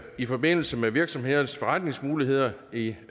i forbindelse med virksomhedernes forretningsmuligheder i